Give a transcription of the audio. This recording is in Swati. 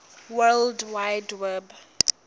world wide web